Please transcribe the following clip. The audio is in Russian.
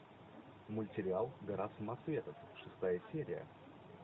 мультсериал гора самоцветов шестая серия